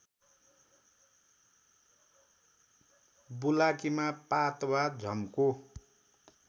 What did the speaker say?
बुलाकीमा पात वा झम्को